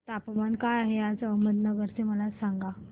तापमान काय आहे आज अहमदनगर चे मला सांगा